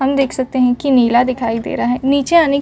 हम देख सकते हैं कि नीला दिखाई दे रहा है नीचे आने --